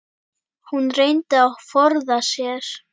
Hún reyndi að forða sér.